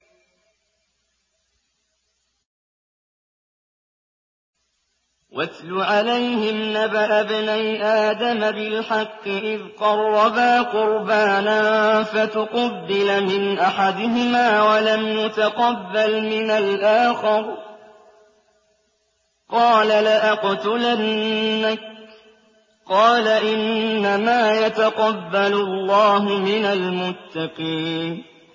۞ وَاتْلُ عَلَيْهِمْ نَبَأَ ابْنَيْ آدَمَ بِالْحَقِّ إِذْ قَرَّبَا قُرْبَانًا فَتُقُبِّلَ مِنْ أَحَدِهِمَا وَلَمْ يُتَقَبَّلْ مِنَ الْآخَرِ قَالَ لَأَقْتُلَنَّكَ ۖ قَالَ إِنَّمَا يَتَقَبَّلُ اللَّهُ مِنَ الْمُتَّقِينَ